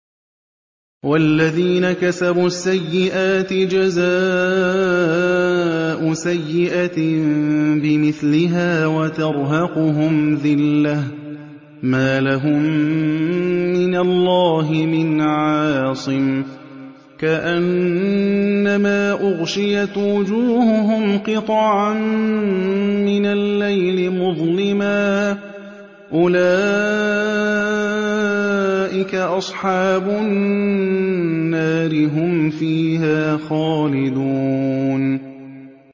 وَالَّذِينَ كَسَبُوا السَّيِّئَاتِ جَزَاءُ سَيِّئَةٍ بِمِثْلِهَا وَتَرْهَقُهُمْ ذِلَّةٌ ۖ مَّا لَهُم مِّنَ اللَّهِ مِنْ عَاصِمٍ ۖ كَأَنَّمَا أُغْشِيَتْ وُجُوهُهُمْ قِطَعًا مِّنَ اللَّيْلِ مُظْلِمًا ۚ أُولَٰئِكَ أَصْحَابُ النَّارِ ۖ هُمْ فِيهَا خَالِدُونَ